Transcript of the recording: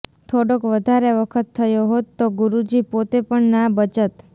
થોડોક વધારે વખત થયો હોત તો ગુરૂજી પોતે પણ ના બચત